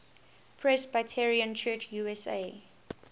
presbyterian church usa